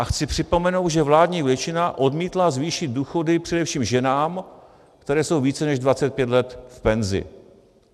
A chci připomenout, že vládní většina odmítla zvýšit důchody především ženám, které jsou více než 25 let v penzi.